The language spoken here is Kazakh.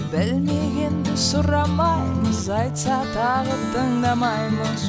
білмегенді сұрамаймыз айтса тағы тыңдамаймыз